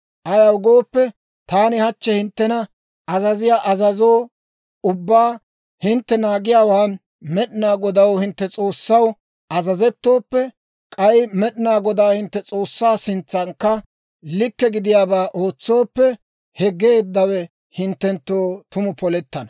Ayaw gooppe, taani hachchi hinttena azaziyaa azazo ubbaa hintte naagiyaawaan Med'inaa Godaw, hintte S'oossaw azazettooppe, k'ay Med'inaa Godaa hintte S'oossaa sintsankka likke gidiyaabaa ootsooppe, he geeddawe hinttenttoo tumu polettana.